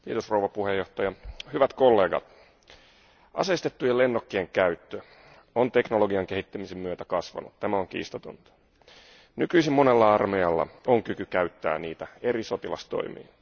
Arvoisa puhemies, hyvät kollegat, aseistettujen lennokkien käyttö on teknologian kehittymisen myötä kasvanut. Tämä on kiistatonta. Nykyisin monella armeijalla on kyky käyttää niitä eri sotilastoimiin.